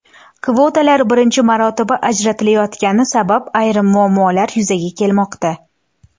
Kvotalar birinchi marotaba ajratilayotgani sabab ayrim muammolar yuzaga kelmoqda.